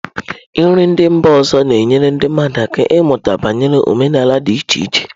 Nri ndị mba ọzọ na-enyere ndị mmadụ aka ịmụta banyere omenala dị iche iche.